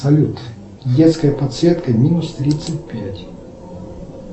салют детская подсветка минус тридцать пять